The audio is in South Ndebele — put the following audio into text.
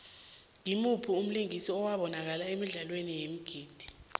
ngumuphi umlingisi obanakala emidlalweni yeengidi